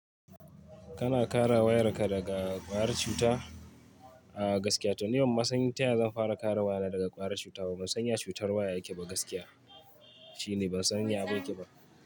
Kana kara wayarka daga ƙwayar cuta a gaskiya. To ni ban ma san taya zan fara kara wayana daga ƙwayar cuta. Ba mu san ya cutar waya yake ba gaskiya. Shi ne ban san ya abun yake ba.